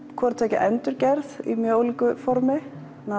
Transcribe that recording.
hvort tveggja endurgerð í mjög ólíku formi